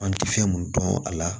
An tɛ fɛn mun dɔn a la